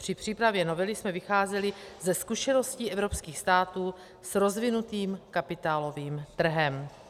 Při přípravě novely jsme vycházeli ze zkušeností evropských států s rozvinutým kapitálovým trhem.